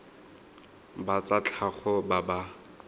ba tsa tlhago ba ba